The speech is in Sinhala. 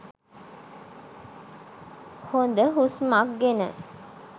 හොද හුස්මක් ගෙන